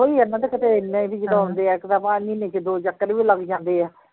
ਉਹੋ ਈ ਇਹਨਾ ਤੇ ਕਿਤੇ ਐਨਾ ਹੈ ਕਿ ਜਦੋਂ ਆਉਂਦੇ ਹੈ ਇੱਕ ਤਾਂ ਮਹੀਨੇ ਚ ਦੋ ਚੱਕਰ ਵੀ ਲੱਗ ਜਾਂਦੇ ਏ